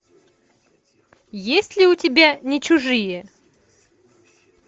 есть ли у тебя не чужие